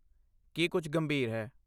ਕੀ ਕੁਝ ਗੰਭੀਰ ਹੈ?